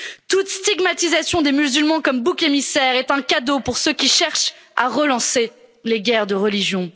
Toute stigmatisation des musulmans comme boucs émissaires est un cadeau pour ceux qui cherchent à relancer les guerres de religion.